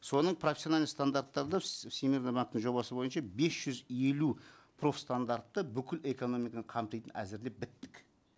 соның профессиональный стандарттарды всемирный банктің жобасы бойынша бес жүз елу профстандартты бүкіл экономиканы қамтитын әзірлеп біттік